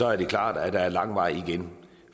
er det klart at der er lang vej igen